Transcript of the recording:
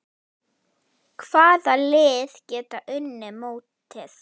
Hvaða lið geta unnið mótið?